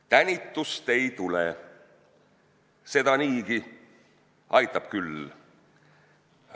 Tänitust ei tule, seda niigi, aitab küll!